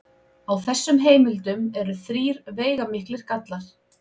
Á þessum heimildum eru þrír veigamiklir gallar.